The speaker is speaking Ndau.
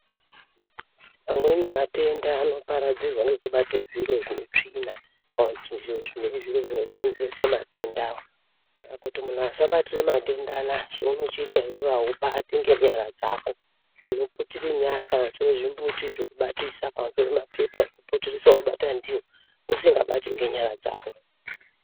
Amweni matenda anoparadzirwa nekubatwa zviro zveutsvina zviro zveikonzeresa matenda muntu asabatira matenda ayani zvechikuita asibati nyara dzako kuputira nyara kuita zvekubatisa kubata ndiri usingabati ngenyara dzako.